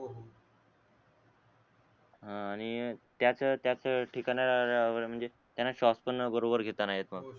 हा आणि त्याच त्याच ठिकाण्या वर राहणारे म्हणजे त्याना स्वास पण बरोबर घेता नाय येत म